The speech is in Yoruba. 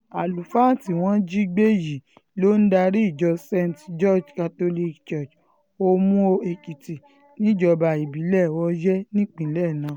àlùfáà tí wọ́n jí gbé um yìí ló ń darí ìjọ um st george catholic church omuo-ekitì níjọba ìbílẹ̀ oyè nípínlẹ̀ náà